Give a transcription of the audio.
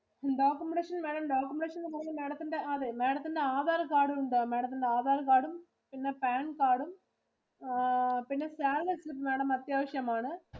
Documentation വേണം. Documentation എന്ന് പറഞ്ഞാ, അതെ Madam ത്തിന് Aadhar card ഉണ്ടോ? Madam ത്തിന്റെ Aadhar card ഉം പിന്നെ Pan card ഉം ആ പിന്നെ Salary certificate Madam അത്യാവിശം ആണ്.